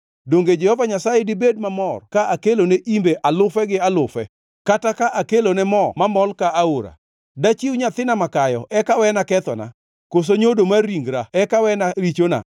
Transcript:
Donge Jehova Nyasaye dibed mamor ka akelone imbe alufe gi alufe, kata ka kelone moo mamol ka aora? Dachiw nyathina makayo eka wena kethona, koso nyodo mar ringra eka wena richona?